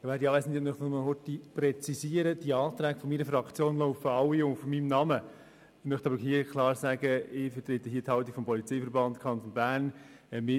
Ich möchte betonen, dass die Anträge meiner Fraktion zwar alle auf meinen Namen lauten, ich jedoch klar die Haltung des Polizeiverbandes Kanton Bern vertrete.